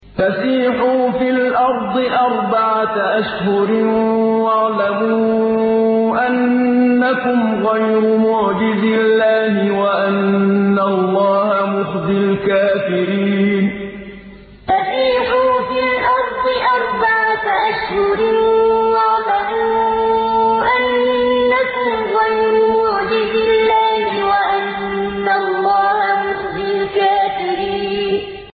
فَسِيحُوا فِي الْأَرْضِ أَرْبَعَةَ أَشْهُرٍ وَاعْلَمُوا أَنَّكُمْ غَيْرُ مُعْجِزِي اللَّهِ ۙ وَأَنَّ اللَّهَ مُخْزِي الْكَافِرِينَ فَسِيحُوا فِي الْأَرْضِ أَرْبَعَةَ أَشْهُرٍ وَاعْلَمُوا أَنَّكُمْ غَيْرُ مُعْجِزِي اللَّهِ ۙ وَأَنَّ اللَّهَ مُخْزِي الْكَافِرِينَ